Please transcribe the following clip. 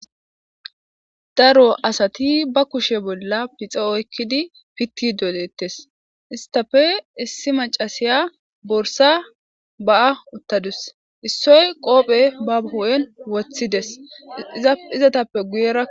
daro asati ba kushe bolla pixe oykkidi pitti dolettes istafe issi macasiya borsa ba7a uttadus issoy qoophe ba hoon woththidesizatappe guyera.